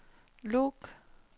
log